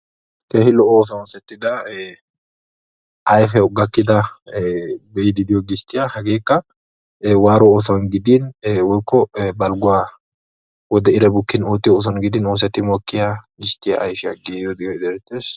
keehi lo"o oosetida ayfiyawu gakida gistiyaa hagekka waaruwa oosuwani woykko badhessani giigiyaa goshaa oosuwa.